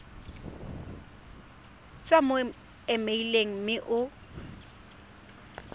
tswa mo emeileng mme o